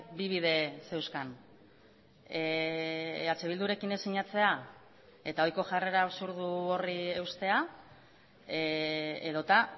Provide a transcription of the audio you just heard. bi bide zeuzkan eh bildurekin ez sinatzea eta ohiko jarrera absurdu horri eustea edota